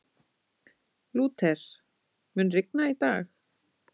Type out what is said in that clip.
Lúther, mun rigna í dag?